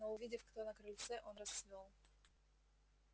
но увидев кто на крыльце он расцвёл